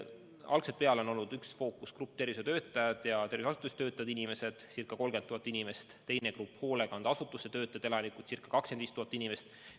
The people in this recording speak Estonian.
Algusest peale on olnud üks fookusgrupp tervishoiutöötajad ja terviseasutustes töötavad inimesed, ca 30 000 inimest, teine grupp on hoolekandeasutuste töötajad ja elanikud, ca 25 000 inimest.